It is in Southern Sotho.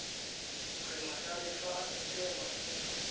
re majalefa a sekema se